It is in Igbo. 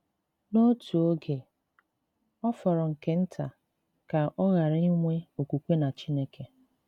N'otu oge, ọ fọrọ nke nta ka ọ ghara inwe okwukwe na Chineke.